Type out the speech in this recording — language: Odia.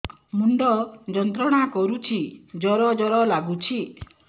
ମୁଣ୍ଡ ଯନ୍ତ୍ରଣା କରୁଛି ଜର ଜର ଲାଗୁଛି